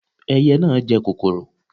Ẹyẹ na jẹ kòkòrò